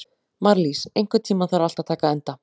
Marlís, einhvern tímann þarf allt að taka enda.